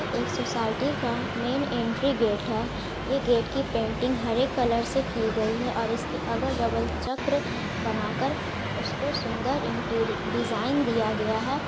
एक सोसायटी का main entry gate है। ये गेट की पेंटिंग हरे कलर से की गई है और इसके अगल बगल चक्र बनाकर उसको सुंदर डिजाइन दिया गया हे ।